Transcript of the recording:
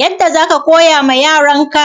yadda za ka koya ma yaranka